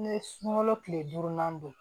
N ye sunkalo kile durunan don